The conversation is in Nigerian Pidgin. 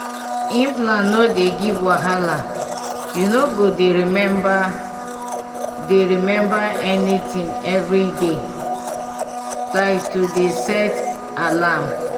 implant no dey give wahala you no go dey remember dey remember anything every day small pause like to dey set alarm!